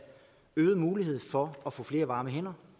øget mulighed for at få flere varme hænder